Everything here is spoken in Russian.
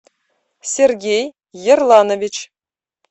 сергей ерланович